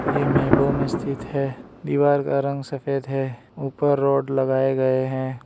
ये मेबो मे स्थित है दीवार का रंग सफेद है उपर रॉड लगाए गए हैं।